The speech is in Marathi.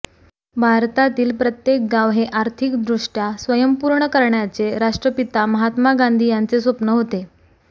भारतातील प्रत्येक गाव हे आर्थिकदुष्टया स्वयंपूर्ण करण्याचे राष्ट्रपिता महात्मा गांधी यांचे स्वप्न होते